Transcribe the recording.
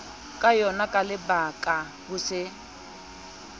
ka yonaka lebakala ho se